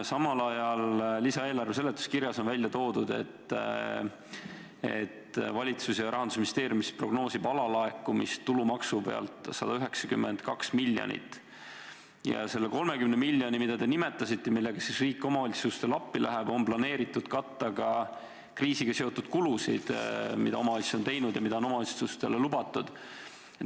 Samal ajal on lisaeelarve seletuskirjas välja toodud, et valitsus ja Rahandusministeerium prognoosivad tulumaksu alalaekumiseks 192 miljonit ning selle 30 miljoniga, mida te nimetasite ja millega riik omavalitsustele appi läheb, on planeeritud katta kriisiga seotud kulusid, mida omavalitsus on teinud ja mida on omavalitsustele lubatud.